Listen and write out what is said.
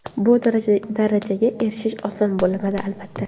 Bu darajaga erishish oson bo‘lmadi, albatta.